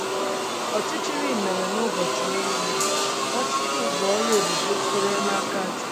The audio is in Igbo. Ọchịchịrị mere n'ụbọchị ọnwụ Nwachukwu bụ ọrụ ebube sitere n'aka Chukwu.